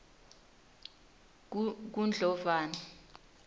kundlovana